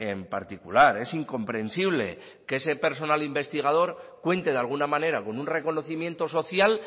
en particular es incomprensible que ese personal investigador cuente de alguna manera con un reconocimiento social